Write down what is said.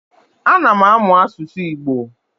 Ana m amụ asụsụ Igbo.